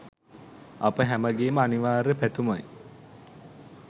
අප හැමගේම අනිවාර්ය පැතුමයි